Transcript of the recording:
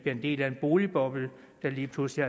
en del af en boligboble der lige pludselig